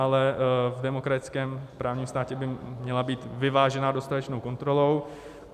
Ale v demokratickém právním státě by měla být vyvážená dostatečnou kontrolou.